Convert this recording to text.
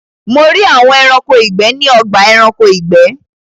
Mo rí àwọn Ẹranko ìgbẹ́ ní ọgbà Ẹranko ìgbẹ́